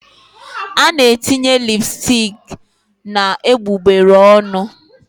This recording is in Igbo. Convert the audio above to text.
A na-etinye lipsticks na egbugbere ọnụ